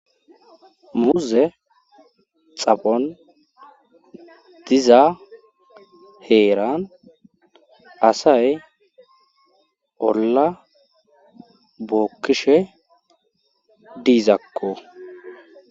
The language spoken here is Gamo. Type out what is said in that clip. Muuze xaphon diza heeran asay olla bookkishe diizakko.